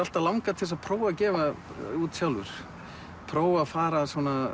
alltaf langað til að prófa að gefa út sjálfur prófa að fara